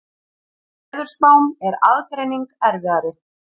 Í veðurspám er aðgreining erfiðari.